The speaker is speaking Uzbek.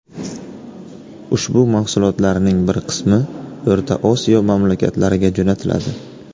Ushbu mahsulotlarning bir qismi O‘rta Osiyo mamlakatlariga jo‘natiladi.